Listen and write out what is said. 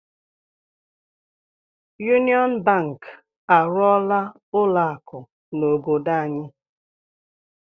Yuniọn Bank arụọla ụlọ akụ n'obodo anyị.